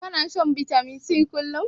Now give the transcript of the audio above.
Kana shan bitamin C kullum?